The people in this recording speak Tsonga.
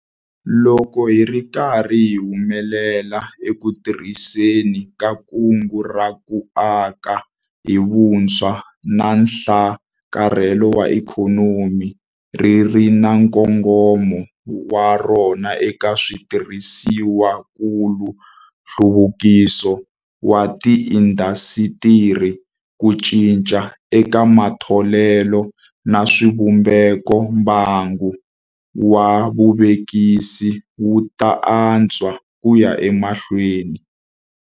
Loko hi ri karhi hi humelela eku tirhiseni ka Kungu ra ku Aka hi Vutshwa na Nhlakarhelo wa Ikhonomi - ri ri na nkongomo wa rona eka switirhisiwakulu, nhluvukiso wa tiindasitiri, ku cinca eka matholelo na swivumbeko - mbangu wa vuvekisi wu ta antswa ku ya emahlweni.